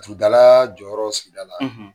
Laturu dala, jɔyɔrɔ sigida la